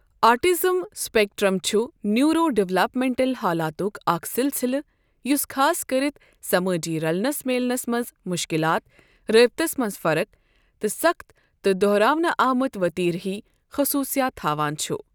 Autism spectrum چھ neuro developmental حالاتک اکھ سلسلہٕ ، یُس خاص کٔرِتھ، سمٲجی رلنس میلنس منز مشكلات ، رٲبِطس منٛز فرق، تہٕ سخت تہٕ دوہراونہٕ آمت وتیرٕ ہوۍ خصوصِیات تھاوان چھ ۔